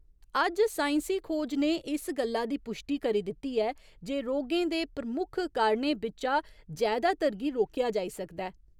अज्ज साइंसी खोज ने इस गल्ला दी पुश्टी करी दित्ती ऐ जे रोगें दे प्रमुख कारणें बिच्चा जैदातर गी रोकेआ जाई सकदा ऐ।